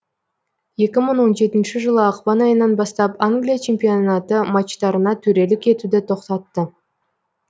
екі мңы он жетінші жылы ақпан айынан бастап англия чемпионаты матчтарына төрелік етуді тоқтатты